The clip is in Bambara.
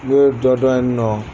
Ne ye dɔ dɔ ye in nɔ